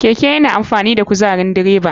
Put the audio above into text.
Keke yana amfani da kuzarin direba.